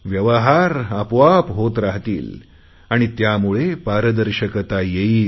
व्यवहार आपोआप होत राहतील आणि त्यामुळे पारदर्शकता येईल